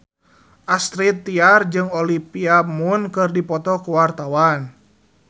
Astrid Tiar jeung Olivia Munn keur dipoto ku wartawan